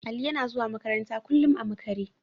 Ali yana zuwa makaranta kullum a makare.